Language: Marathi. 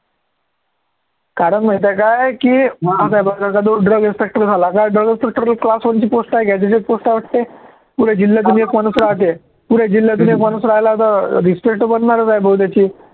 कारण माहिती आहे काय की drug inspector झाला तर drug inspector ला class one ची post आहे त्याच्यात post आहे वाटते पुरे जिल्ह्यातून एक माणूस राहतो, पुरे जिल्ह्यातून एक माणूस राहीला तर अं बनणार आहेच